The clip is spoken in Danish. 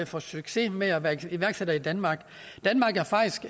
få succes med at være iværksætter i danmark danmark er faktisk